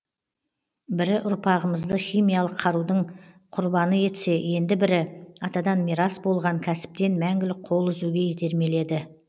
бірі ұрпағымызды химиялық қарудың құрбаны етсе енді бірі атадан мирас болған кәсіптен мәңгілік қол үзуге итермеледі